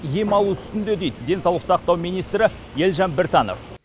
ем алу үстінде дейді денсаулық сақтау министрі елжан біртанов